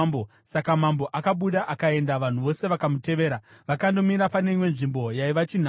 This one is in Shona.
Saka mambo akabuda akaenda, vanhu vose vakamutevera, vakandomira pane imwe nzvimbo yaiva chinhambwe.